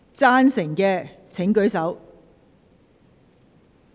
贊成的請舉手。